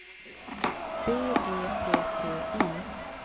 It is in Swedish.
B E T T Y